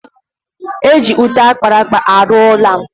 Eji ute akpara akpa arụ ụla